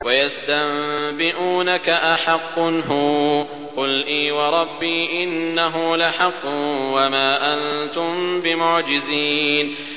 ۞ وَيَسْتَنبِئُونَكَ أَحَقٌّ هُوَ ۖ قُلْ إِي وَرَبِّي إِنَّهُ لَحَقٌّ ۖ وَمَا أَنتُم بِمُعْجِزِينَ